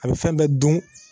A bɛ fɛn bɛɛ dun